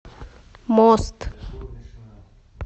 мост